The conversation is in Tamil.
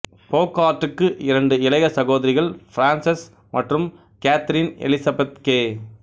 போகார்ட்டுக்கு இரண்டு இளைய சகோதரிகள் பிரான்செஸ் மற்றும் கேதரின் எலிசபெத் கே